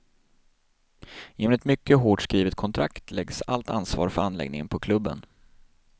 Genom ett mycket hårt skrivet kontrakt läggs allt ansvar för anläggningen på klubben.